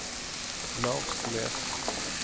Larsnes